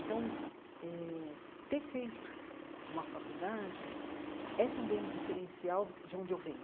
Então eh, ter feito uma faculdade é também um diferencial de onde eu venho.